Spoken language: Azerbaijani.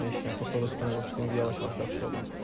Heç nə, toplayıb da sistem qoşdu, indi yavaş-yavaş yaxşı oluram.